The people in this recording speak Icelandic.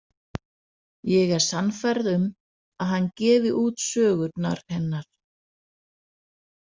Ég er sannfærð um að hann gefi út sögurnar hennar.